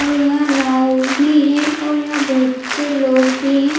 और यहां नाव भी है और यहां बहुत से लोग भी हैं।